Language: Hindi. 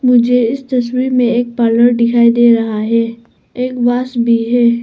मुझे इस तस्वीर में एक पार्लर दिखाई दे रहा है एक वास भी है।